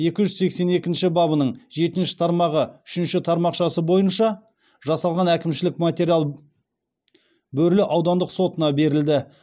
екі жүз сексен екінші бабының жетінші тармағы үшінші тармақшасы бойынша жасалған әкімшілік материал бөрлі аудандық сотына берілді